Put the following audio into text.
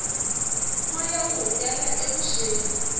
moya wu hungela evuxeni